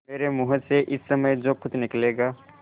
मेरे मुँह से इस समय जो कुछ निकलेगा